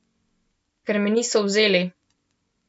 Ker me niso vzeli.